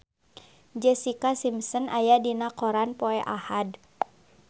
Jessica Simpson aya dina koran poe Ahad